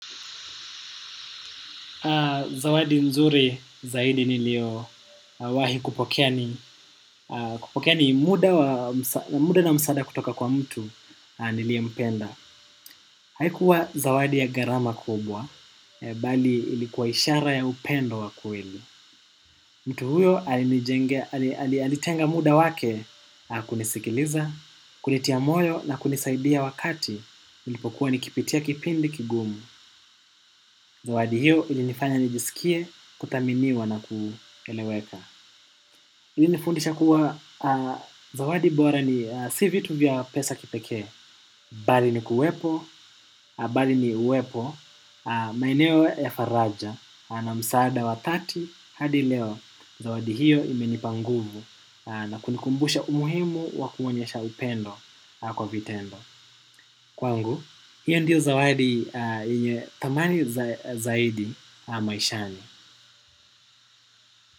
Zawadi nzuri zaidi niliowahi kupokea ni muda na msaada kutoka kwa mtu nilie mpenda. Haikuwa zawadi ya garama kubwa, bali ilikuwa ishara ya upendo wakueli. Mtu huyo alitenga muda wake kunisikiliza, kulitia moyo na kunisaidia wakati nilipokuwa nikipitia kipindi kigumu. Zawadi hiyo ili nifanya nijisikie kutaminiwa na kuileweka ilinifundisha kuwa zawadi bora ni si vitu vya pesa kipeke. Bali ni kuwepo, bali ni uwepo. Maeneo ya faraja na msaada wa thelathini hadi leo. Zawadi hiyo imenipa nguvu na kunikumbusha umuhimu wakuonyesha upendo kwa vitendo. Kwangu, hiyo ndiyo zawadi yenye tamani zaidi maishani.